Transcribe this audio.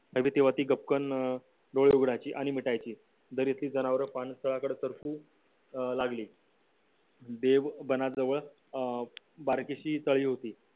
तेव्हा ती गपकन डोळे मिटायची आणि उघडायची दरीतली जनावर पाणथळाकड चारखु अं लागली देव बनाजवळ अं बार्शी तळी होती